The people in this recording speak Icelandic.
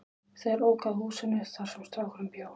Þeir óku að húsinu þar sem strákurinn bjó.